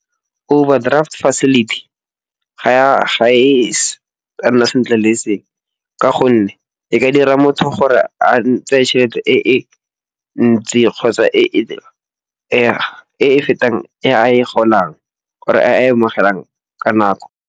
Overdraft facility ga e ya nna sentle le e seng. Ka gonne e ka dira motho gore a tseye tšhelete e e ntsi kgotsa e e fetang e a e golang or-e e a amogelang ka nako.